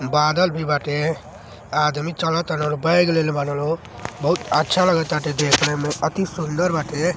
बादल भी बाटें| आदमी चालो तलल बैग लेहले बाटे लोग। बहुत अच्छा लगता देखने में अति सुंदर बाटे।